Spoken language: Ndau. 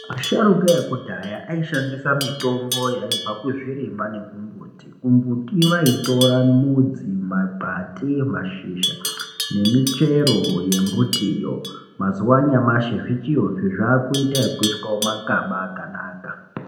Asharukwa ekudhaya aishandisa mitombo yaibva kuzvirimwa nekumbuti. Kumbuti vaitora mudzi, makwati, mashizha nemichero yembitiyo. Mazuwa anyamushi zvichiriyozve zvaakuitwa ekuiswa mumakaba akanaka.